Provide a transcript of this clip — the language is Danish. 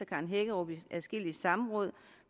karen hækkerup i adskillige samråd